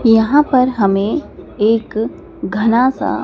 यहां पर हमें एक घना सा--